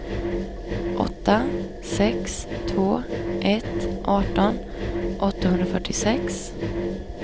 åtta sex två ett arton åttahundrafyrtiosex